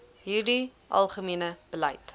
hierdie algemene beleid